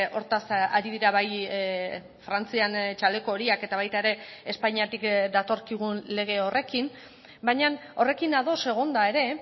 hortaz ari dira bai frantzian txaleko horiak eta baita ere espainiatik datorkigun lege horrekin baina horrekin ados egonda ere